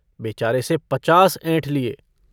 बेचारे से पचास ऐंठ लिए।